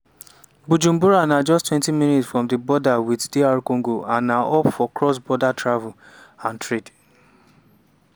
bujumbura na justtwentyminutes from di border wit dr congo and na hub for cross-border travel and trade.